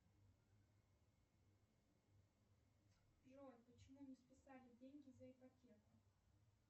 джой почему не списали деньги за ипотеку